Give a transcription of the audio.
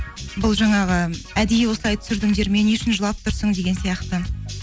бұл жаңағы әдейі осылай түсірдіңдер ме не үшін жылап тұрсың деген сияқты